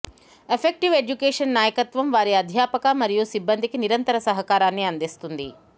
effective education నాయకత్వం వారి అధ్యాపక మరియు సిబ్బందికి నిరంతర సహకారాన్ని అందిస్తుంది